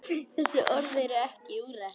Þessi orð eru ekki úrelt.